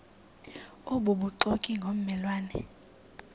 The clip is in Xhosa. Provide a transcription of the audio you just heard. obubuxoki ngomme lwane